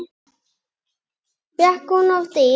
Fékk hún oft ís?